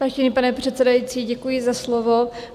Vážený pane předsedající, děkuji za slovo.